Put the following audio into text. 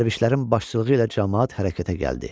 Dərvişlərin başçılığı ilə camaat hərəkətə gəldi.